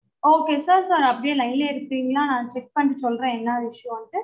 okay sir sir அப்படியே line லயே இருக்கீங்களா நா check பண்ணிட்டு சொல்றேன் என்ன விஷயம் டு